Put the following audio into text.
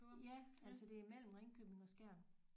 Ja altså det er mellem Ringkøbing og Skjern